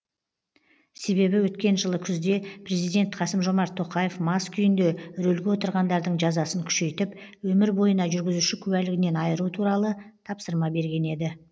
себебі өткен жылы күзде президент қасым жомарт тоқаев мас күйінде рөлге отырғандардың жазасын күшейтіп өмір бойына жүргізуші куәлігінен айыру туралы тапсырма берген еді